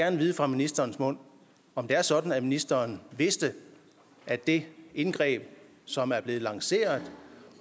at vide fra ministerens mund om det er sådan at ministeren vidste at det indgreb som er blevet lanceret